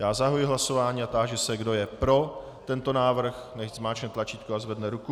Já zahajuji hlasování a táži se, kdo je pro tento návrh, nechť zmáčkne tlačítko a zvedne ruku.